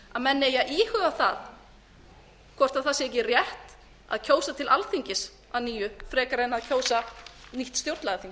að menn eigi að íhuga hvort ekki sé rétt að kjósa til alþingis að nýju frekar en að kjósa nýtt stjórnlagaþing